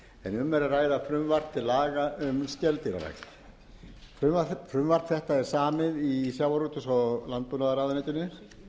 um er að ræða frumvarp til laga um skeldýrarækt frumvarp þetta er samið í sjávarútvegs og landbúnaðarráðuneytinu